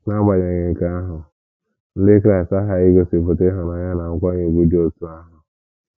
N’agbanyeghị nke ahụ, Ndị Kraịst aghaghị igosipụta ịhụnanya na nkwanye ùgwù dị otú ahụ.